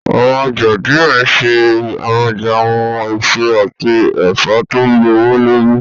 Awọn ọja diẹ nṣe amọja awọn eso ati ẹfọ to gbowolori.